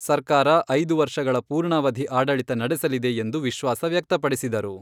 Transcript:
ಸರ್ಕಾರ ಐದು ವರ್ಷಗಳ ಪೂರ್ಣಾವಧಿ ಆಡಳಿತ ನಡೆಸಲಿದೆ ಎಂದು ವಿಶ್ವಾಸ ವ್ಯಕ್ತಪಡಿಸಿದರು.